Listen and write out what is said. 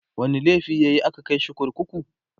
wani laifi yayi a ka Kai shi kurkuku?